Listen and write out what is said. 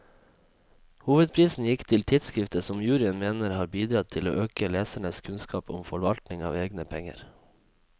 Hovedprisen gikk til tidskriftet, som juryen mener har bidratt til å øke lesernes kunnskap om forvaltning av egne penger.